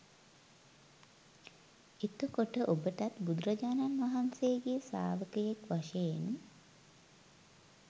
එතකොට ඔබටත් බුදුරජාණන් වහන්සේගේ ශ්‍රාවකයෙක් වශයෙන්